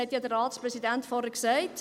Der Ratspräsident hat es ja vorhin gesagt: